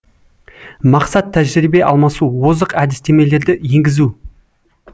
мақсат тәжірибе алмасу озық әдістемелерді енгізу